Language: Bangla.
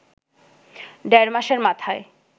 দেড় মাসের মাথায়